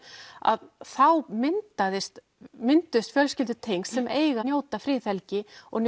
að þá mynduðust mynduðust fjölskyldutengsl sem eiga að njóta friðhelgi og